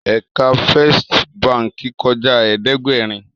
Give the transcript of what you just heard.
Èkà Fèstí bànkí kòjá ẹ̀ẹ́dẹ́gbẹ́rin